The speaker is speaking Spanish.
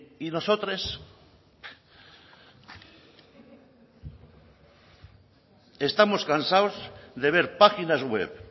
y nosotros estamos cansados de ver páginas web